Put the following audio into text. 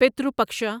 پترو پکشا